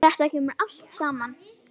Þetta kemur allt saman.